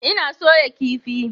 Ina soya kifi.